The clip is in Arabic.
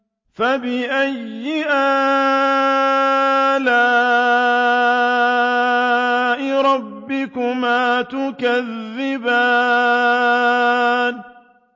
فَبِأَيِّ آلَاءِ رَبِّكُمَا تُكَذِّبَانِ